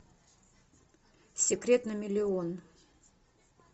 секрет на миллион